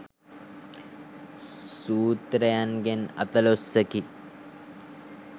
සූත්‍රයන්ගෙන් අතලොස්සකි.